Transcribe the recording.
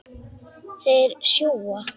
Þeir sjúga.